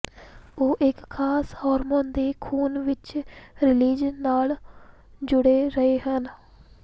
ਉਹ ਇੱਕ ਖਾਸ ਹਾਰਮੋਨ ਦੇ ਖ਼ੂਨ ਵਿੱਚ ਰੀਲਿਜ਼ ਨਾਲ ਜੁੜੇ ਰਹੇ ਹਨ